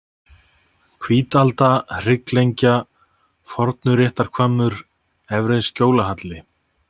Hvítalda, Hrygglengja, Fornuréttarhvammur, Efri-Skjólahjalli